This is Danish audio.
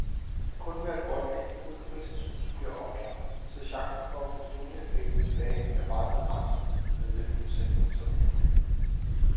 Kun hvert et ottende indbrud i fritidshuse bliver opklaret, så chancen for at få stjålne effekter tilbage er meget begrænset, meddeler forsikringsoplysningen.